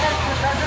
Sağ əyləş.